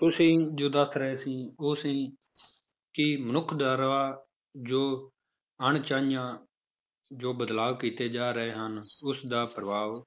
ਤੁਸੀਂ ਜੋ ਦੱਸ ਰਹੇ ਸੀ ਉਹ ਸੀ ਕਿ ਮਨੁੱਖ ਦੁਆਰਾ ਜੋ ਅਣਚਾਹੀਆਂ ਜੋ ਬਦਲਾਵ ਕੀਤੇ ਜਾ ਰਹੇ ਹਨ, ਉਸਦਾ ਪ੍ਰਭਾਵ